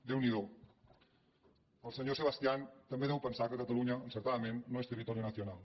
déu n’hi do el senyor sebastián també deu pensar que catalunya encertadament no és territorio nacional